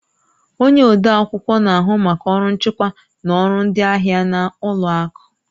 Onye odeakwụkwọ na-ahụ maka ọrụ nchịkwa na ọrụ ndị ahịa na ụlọ akụ